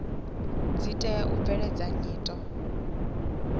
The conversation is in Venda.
dzi tea u bveledza nyito